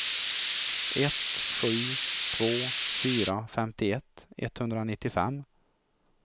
ett sju två fyra femtioett etthundranittiofem